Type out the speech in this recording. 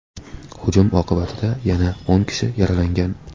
Hujum oqibatida yana o‘n kishi yaralangan.